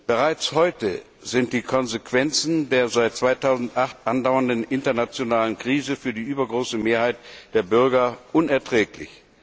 Bereits heute sind die Konsequenzen der seit 2008 andauernden internationalen Krise für die übergroße Mehrheit der Bürger unerträglich.